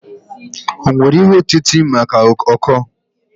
O nwere ihe otite maka ọkọọ?